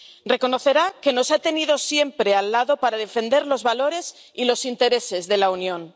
Reconocerá que nos ha tenido siempre al lado para defender los valores y los intereses de la Unión.